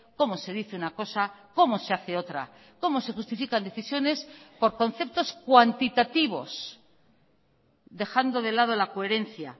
cómo se dice una cosa cómo se hace otra cómo se justifican decisiones por conceptos cuantitativos dejando de lado la coherencia